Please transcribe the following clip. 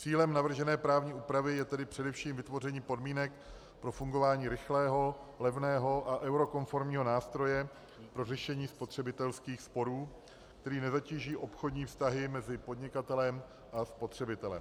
Cílem navržené právní úpravy je tedy především vytvoření podmínek pro fungování rychlého, levného a eurokonformního nástroje pro řešení spotřebitelských sporů, který nezatíží obchodní vztahy mezi podnikatelem a spotřebitelem.